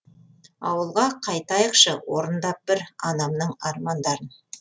ауылға қайтайықшы орындап бір анамның армандарын